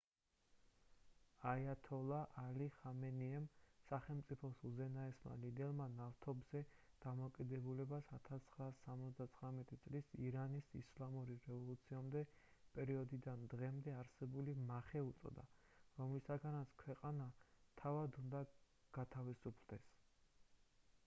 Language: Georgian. აიათოლა ალი ხამენეიმ სახელმწიფოს უზენაესმა ლიდერმა ნავთობზე დამოკიდებულებას 1979 წლის ირანის ისლამური რევოლუციამდე პერიოდიდან დღემდე არსებული მახე უწოდა რომლისგანაც ქვეყანა თავად უნდა გათავისუფლდეს